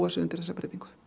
sig undir þessa breytingu